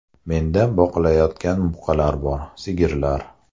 Menda boqilayotgan buqalar bor, sigirlar.